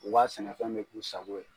U ka sɛnɛfɛn bɛ k'u sago ye.